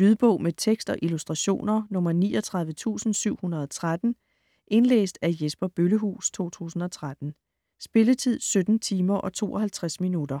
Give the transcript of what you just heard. Lydbog med tekst og illustrationer 39713 Indlæst af Jesper Bøllehuus, 2013. Spilletid: 17 timer, 52 minutter.